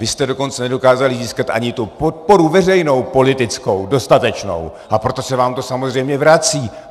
Vy jste dokonce nedokázali získat ani tu podporu veřejnou politickou dostatečnou, a proto se vám to samozřejmě vrací.